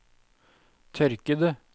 tørkede